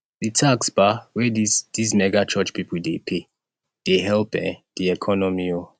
di tax um wey dese dese mega church pipo dey pay dey help um di economy um